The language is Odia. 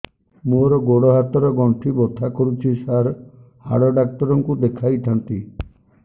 ମୋର ଗୋଡ ହାତ ର ଗଣ୍ଠି ବଥା କରୁଛି ସାର ହାଡ଼ ଡାକ୍ତର ଙ୍କୁ ଦେଖାଇ ଥାନ୍ତି